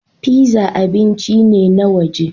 Pizza abinci ne na waje